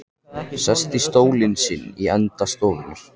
Sest í stólinn sinn í enda stofunnar.